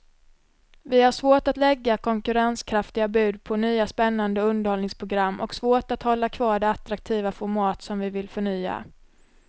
Vi har svårt att lägga konkurrenskraftiga bud på nya spännande underhållningsprogram och svårt att hålla kvar de attraktiva format som vi vill förnya.